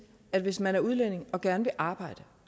at hvis man er udlænding og gerne vil arbejde